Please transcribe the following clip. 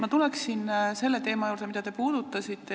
Ma tulen selle teema juurde, mida te puudutasite.